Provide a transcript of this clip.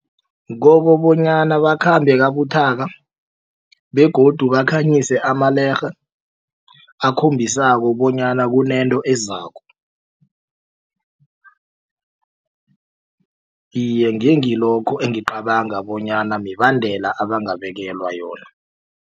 Kokobonyana bakhambe kabuthaka begodu bakhanyise amalerhe akhombisako bonyana kunento ezako iye ngengilokho engicabanga bonyana mibandela abangabekelwa yona.